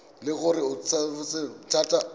le gore o tsofetse thata